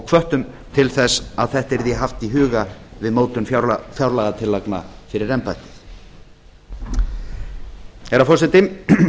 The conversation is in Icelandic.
hvöttum til þess að þetta yrði haft í huga við mótun fjárlagatillagna fyrir embættið herra forseti